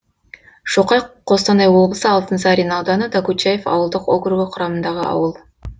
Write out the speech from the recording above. шоқай қостанай облысы алтынсарин ауданы докучаев ауылдық округі құрамындағы ауыл